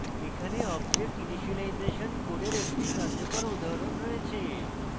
এখানে object initialization code একটি কার্যকর উদাহরণ রয়েছে